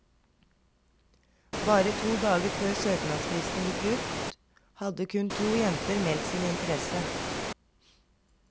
Bare to dager før søknadsfristen gikk ut, hadde kun to jenter meldt sin interesse.